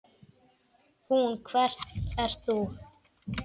Hún: Hver ert þú?